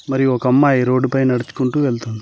మరియు ఒక అమ్మాయి రోడ్డుపై నడుచుకుంటూ వెళ్తుంది.